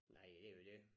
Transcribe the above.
Nej det jo dét